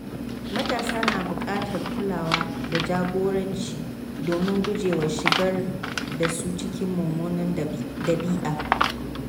Matasa na bukatar kulawa da jagoranci domin gujewa shigar da su cikin mummunan dabi’a.